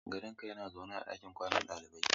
Kadanga yana zaune a ɗakin kwanan dalibai.